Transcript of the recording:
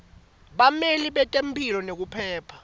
bameli betemphilo nekuphepha